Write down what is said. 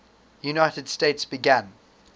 united states began